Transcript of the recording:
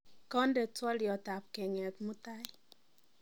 konde twolyot apkeng, et mutai